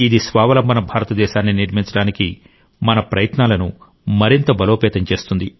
ఇది స్వావలంబన భారతదేశాన్ని నిర్మించడానికి మన ప్రయత్నాలను మరింత బలోపేతం చేస్తుంది